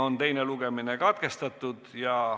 Teine lugemine on katkestatud.